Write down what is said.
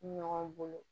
Ɲɔgɔn bolo